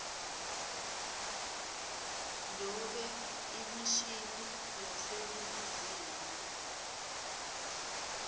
nobe imishini yaseningizimu